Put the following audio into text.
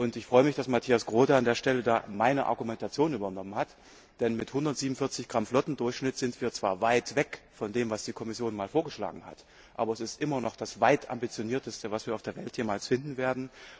Ich freue mich, dass Mathias Groote an der Stelle meine Argumentation übernommen hat, denn mit 147 g Flottendurchschnitt sind wir zwar weit weg von dem, was die Kommission einmal vorgeschlagen hat, aber es ist bei weitem immer noch das Ambitionierteste, was wir auf der Welt jemals finden werden.